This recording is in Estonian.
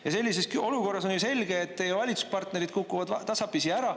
Ja selliseski olukorras on ju selge, et teie valitsuspartnerid kukuvad tasapisi ära.